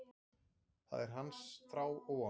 Það er hans þrá og von.